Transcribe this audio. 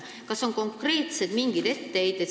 Kas on mingeid konkreetseid etteheiteid?